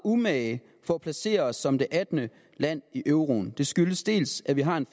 umage for at placere os som det attende land i euroen det skyldes dels at vi har en